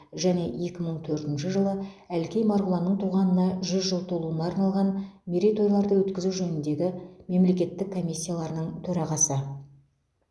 және екі мың төртінші жылы әлкей марғұланның туғанына жүз жыл толуына арналған мерейтойларды өткізу жөніндегі мемлекеттік комиссияларының төрағасы